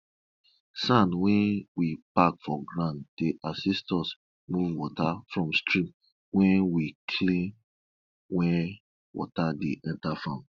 sand wey we pack for ground dey assist us move water for stream when we clean where water dey enter farm